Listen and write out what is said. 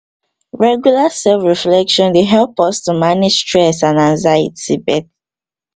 regular self reflection dey help us manag stress and anxiety